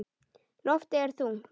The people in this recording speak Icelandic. Loftið er þungt.